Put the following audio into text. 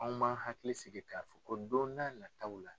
Anw ma hakili sigi k'a fɔ ko don n'a nataw la.